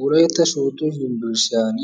Wolaytta sooddo yunbberesttiyan